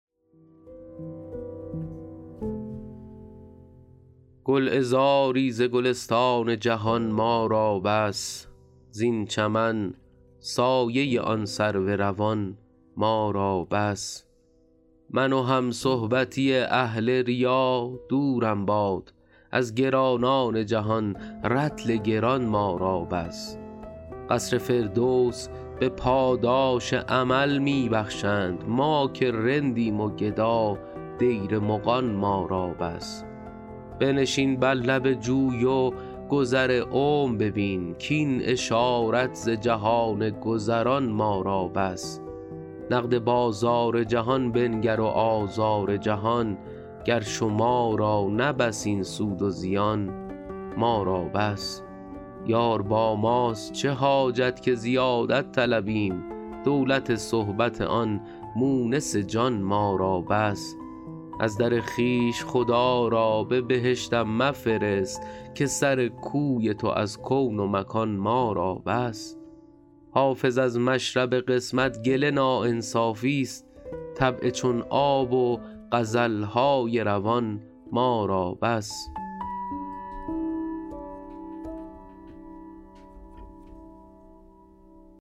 گلعذاری ز گلستان جهان ما را بس زین چمن سایه آن سرو روان ما را بس من و همصحبتی اهل ریا دورم باد از گرانان جهان رطل گران ما را بس قصر فردوس به پاداش عمل می بخشند ما که رندیم و گدا دیر مغان ما را بس بنشین بر لب جوی و گذر عمر ببین کاین اشارت ز جهان گذران ما را بس نقد بازار جهان بنگر و آزار جهان گر شما را نه بس این سود و زیان ما را بس یار با ماست چه حاجت که زیادت طلبیم دولت صحبت آن مونس جان ما را بس از در خویش خدا را به بهشتم مفرست که سر کوی تو از کون و مکان ما را بس حافظ از مشرب قسمت گله ناانصافیست طبع چون آب و غزل های روان ما را بس